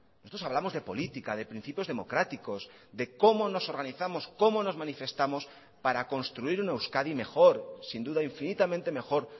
nosotros hablamos de política de principios democráticos de cómo nos organizamos cómo nos manifestamos para construir una euskadi mejor sin duda infinitamente mejor